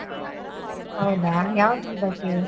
ಹೌದಾ? ಯಾವುದ್ರ ಬಗ್ಗೆ?